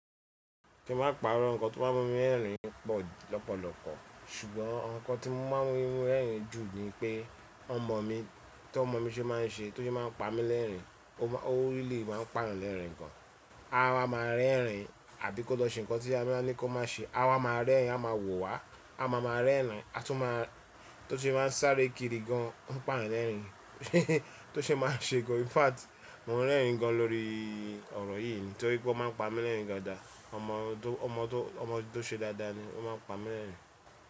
Kí ma paro ǹkan tó maa n mú mi rẹ́rìn pọ̀ lọ́pọ̀lọpọ̀, ṣùgbọ́n awon ǹkan tí ó ma ń mú mi rẹ́rìn jù ní i pé ọmọ mi, tí ọmọ mi ṣe má a ń ṣe tó ṣe má a ń pa mí lẹ́rìnri, ó really má a ń pàrọ̀ lẹ́rìnri gan. A máa rẹ́rìn àbí kó lọ ṣe ǹkan tí a baa ní kó má ṣe, a máa rẹ́rìn, a máa wò wá, a máa ma rẹ́rìn, a tún má a tó ṣe má a ń sáré kiri gan, ó ń paayan lẹ́rìn, tó ṣe má a ń ṣe gan. In fact, mo n rẹ́rìn gan lórí ọ̀rọ̀ yìí ni, torí pé ó máa ń pa mí lẹ́rìn gan da. Ọmọ tó ṣe dáadáa ni, ó máa ń pa mí lẹ́rìn.